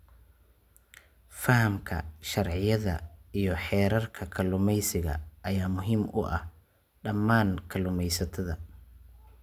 Fahamka sharciyada iyo xeerarka kalluumeysiga ayaa muhiim u ah dhammaan kalluumeysatada.